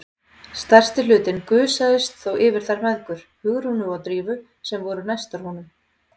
Stærsti hlutinn gusaðist þó yfir þær mæðgur, Hugrúnu og Drífu, sem voru næstar honum.